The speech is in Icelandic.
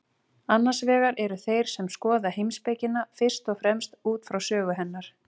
Annars vegar eru þeir sem skoða heimspekina fyrst og fremst út frá sögu hennar.